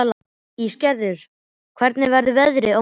Ísgerður, hvernig verður veðrið á morgun?